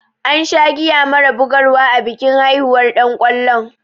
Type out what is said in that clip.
An sha giya mara bugar wa a bikin haihuwar ɗan kwallon.